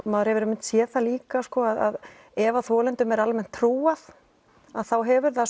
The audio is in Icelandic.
maður hefur einmitt séð það líka að ef þolendum er almennt trúað hefur það